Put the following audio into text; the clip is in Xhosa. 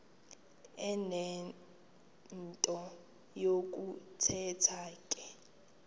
enento yokuthetha ke